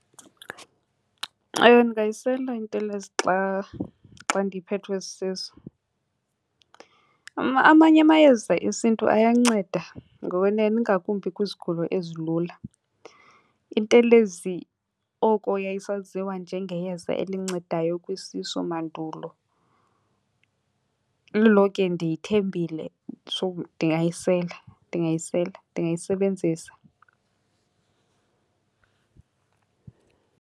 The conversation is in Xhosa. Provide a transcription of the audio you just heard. Ewe, ndingayisela intelezi xa, xa ndiphethwe sisisu. Amanye amayeza esiNtu ayanceda ngokwenene, ingakumbi kwizigulo ezilula. Intelezi oko yayisaziwa njengeyeza elincedayo kwisisu mandulo. Lilonke ndiyithembile so ndingayisela, ndingayisela, ndingayisebenzisa.